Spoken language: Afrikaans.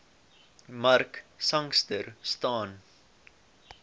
mark sangster staan